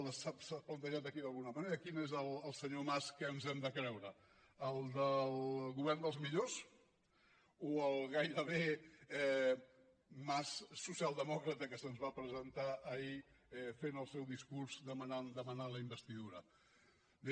s’ha plantejat aquí d’alguna manera quin és el senyor mas que ens hem de creure el del govern dels millors o el gairebé mas socialdemòcrata que se’ns va presentar ahir fent el seu discurs demanant la investidura bé